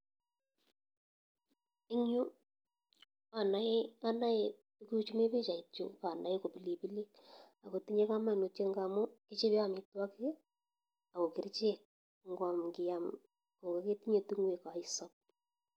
En Yu anae tuguk chumi bichait ko bilibilik akotye kamanutio amun agokerchek amun kiyam kometinye tungoek kokaisob